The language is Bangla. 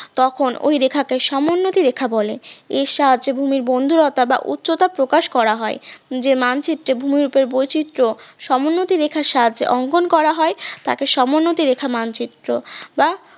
তখন ঐ রেখাকে সমোন্নতি রেখা বলে, এর সাহায্যে ভূমির বন্দুরতা বা উচ্চতা প্রকাশ করা হয়, যে মানচিত্রে ভূমিরূপের বৈচিত্র সমোন্নতি রেখার সাহায্যে অঙ্কন করা হয় তাকে সমোন্নতি রেখা মানচিত্র বা